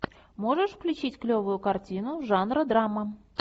можешь включить клевую картину жанра драма